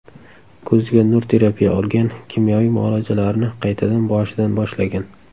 Ko‘ziga nur terapiya olgan, kimyoviy muolajalarini qaytadan boshidan boshlagan.